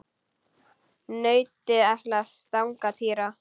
Nautið ætlaði að stanga Týra.